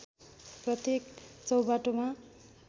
प्रत्येक चौबाटोमा